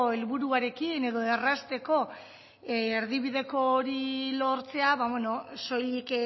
helburuarekin edo errazteko erdibideko hori lortzea soilik